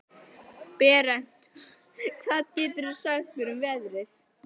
Berent, hvað geturðu sagt mér um veðrið?